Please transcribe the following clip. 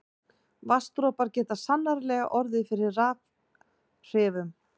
Vatnsdropar geta sannarlega orðið fyrir rafhrifum.